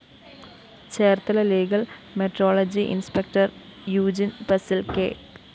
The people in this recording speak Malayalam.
Cherthala legal metrology inspector Eugene‍ പസില്‍ കെ